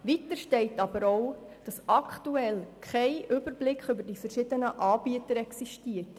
Weiter steht auch, dass aktuell kein Überblick über die verschiedenen Anbieter existiert.